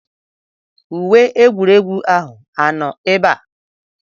Uwe egwuregwu ahụ anọ ebe a?